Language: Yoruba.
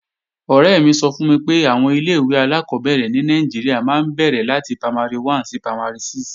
Ọ̀rẹ́ mi sọ fún mi pé àwọn ilé-ìwé alákọ́bẹ̀rẹ̀ ní Nàìjíríà máa ń bẹ̀rẹ̀ láti Primary 1 sí Primary 6